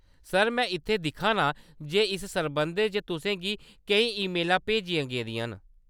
Sir, में इत्थै दिक्खा नां जे इस सरबंधै च तुसें गी केईं ईमेलां भेजियां गेदियां न।